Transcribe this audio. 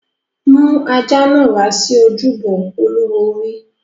Mú ajá náà wá sí ojúbọ! Olúwo wí.